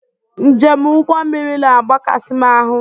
Njem ụgbọ mmiri na agbakasị m ahu